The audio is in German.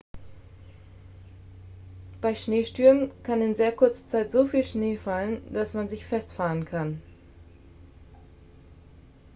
bei schneestürmen kann in sehr kurzer zeit so viel schnee fallen dass man sich festfahren kann